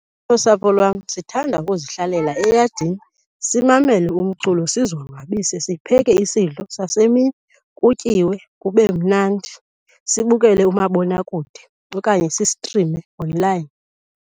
Nosapho lwam sithanda ukuzihlalela eyadini simamele umculo, sizonwabise. Sipheke isidlo sasemini kutyiwe kube mnandi, sibukele umabonakude okanye sistrime onlayini.